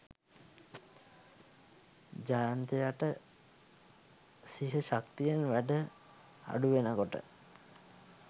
ජයන්තයට සිහ ශක්තියෙන් වැඩ අඩුවෙනකොට